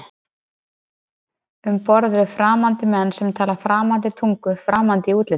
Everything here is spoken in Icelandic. Um borð eru framandi menn sem tala framandi tungu, framandi í útliti.